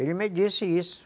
Ele me disse isso.